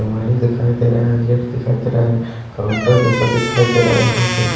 दिखाई देरा गेट दिखाई देरा काउंटर जैसा दिखाई देरा यहाँ पे--